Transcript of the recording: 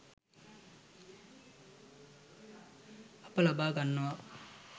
අප ලබා ගන්නවා